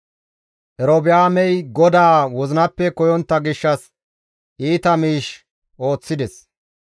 Erobi7aamey GODAA wozinappe koyontta gishshas iita miish ooththides.